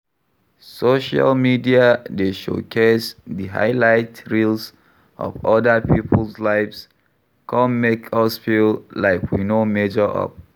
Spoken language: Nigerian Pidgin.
Social media dey showcase di highlight reels of oda people's lives, come make us feel like we no measure up.